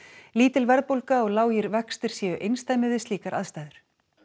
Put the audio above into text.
lítil verðbólga og lágir vextir séu einsdæmi við slíkar aðstæður